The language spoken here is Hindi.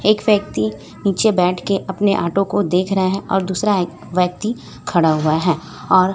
एक व्यक्ति नीचे बैठ के अपने ऑटो को देख रहा है और दूसरा एक व्यक्ति खड़ा हुआ है और--